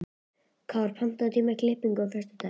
Kár, pantaðu tíma í klippingu á föstudaginn.